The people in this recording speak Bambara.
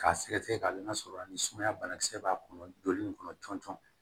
K'a sɛgɛsɛgɛ ka n'a sɔrɔ a ni sumaya bana kisɛ b'a kɔnɔ joli nin kɔnɔ cɔntɔn